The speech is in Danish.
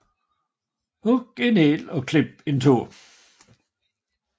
Hug en hæl og klip en tå